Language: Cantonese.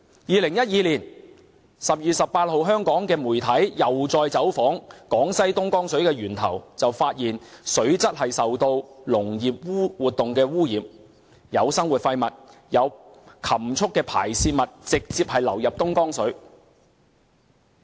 2012年12月18日香港媒體又再走訪江西東江水的源頭，發現水質受農業活動污染，有生活廢物和禽畜排泄物直接流入東江水。